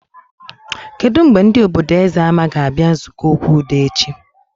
Kedụ mgbe ndị obodo Ezemma ga abịa nzukọ okwu udo echi?